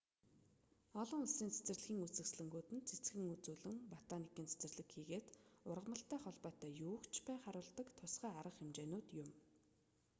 олон улсын цэцэрлэгийн үзэсгэлэнгүүд нь цэцгэн үзүүлэн ботаникийн цэцэрлэг хийгээд ургамалтай холбоотой юуг ч бай харуулдаг тусгай арга хэмжээнүүд юм